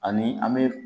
Ani an be